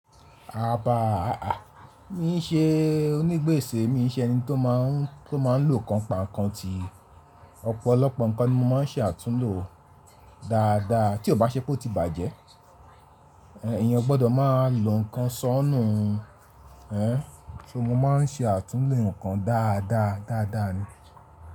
Aba, aà, mi n ṣe onígbèsè, mi n ṣe ẹni tó máa n tó máa n lo kàn pa kàn tí ọ̀pọ̀lọpọ̀ nǹkan ni mo má n ṣe àtúnhò dáadáa tí ó bá ṣẹ́ pé ó ti bàjẹ́. Ẹ̀yin o gbọ́dọ̀ máa lo nǹkan sọ́nù ún, ẹ́n, ṣo mo ma n ṣe àtúnlò nǹkan dáadáa dáadáa ni.